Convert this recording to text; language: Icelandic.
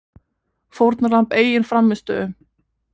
Fórnarlamb eigin frammistöðu